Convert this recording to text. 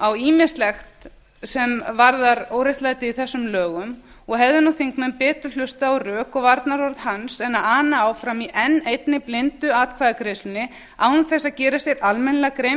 á ýmislegt sem varðar óréttlætið í þessum lögum og hefðu þingmenn betur hlustað á rök og varnaðarorð hans en ana áfram í enn eini blindu atkvæðagreiðslunni án þess að gera sér almennilega grein